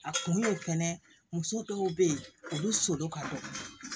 A kun y'o fɛnɛ muso dɔw be yen olu so ka dɔgɔ